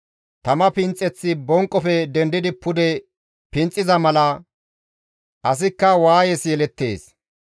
Tama finxeththi bonqofe dendidi pude finxiza mala, asikka waayes yelettees.